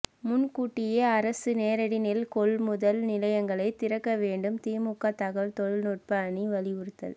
முன்கூட்டியே அரசு நேரடி நெல்கொள்முதல் நிலையங்களை திறக்க வேண்டும் திமுக தகவல் தொழில் நுட்ப அணி வலியுறுத்தல்